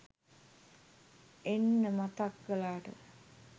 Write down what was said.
එන්න මතක් කලාට